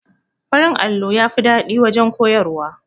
Farin allo yafi daɗin waje koyarwa